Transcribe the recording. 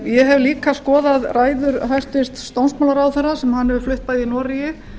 ég hef líka skoðað ræður hæstvirtur dómsmálaráðherra sem hann hefur flutt bæði í noregi